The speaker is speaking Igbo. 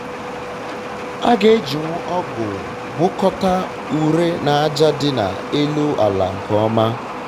aga ejinwu um ọgụ gwakọta ure na aja dị na-elu ala nke ọma